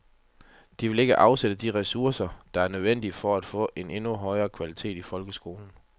De vil ikke afsætte de ressourcer, der er nødvendige for at få en endnu højere kvalitet i folkeskolen.